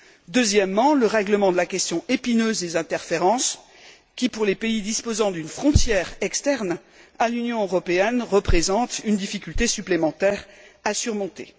Il faut aussi trancher la question épineuse des interférences qui, pour les pays disposant d'une frontière externe à l'Union européenne, représente une difficulté supplémentaire à surmonter.